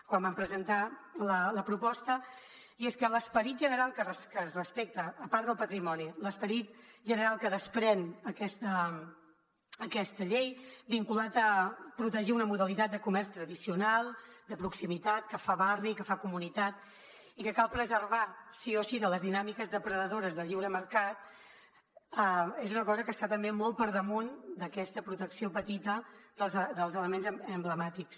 quan van presentar la proposta i és que l’esperit general que es respecta a part del patrimoni l’esperit general que desprèn aquesta llei vinculat a protegir una modalitat de comerç tradicional de proximitat que fa barri que fa comunitat i que cal preservar sí o sí de les dinàmiques depredadores de lliure mercat és una cosa que està també molt per damunt d’aquesta protecció petita dels elements emblemàtics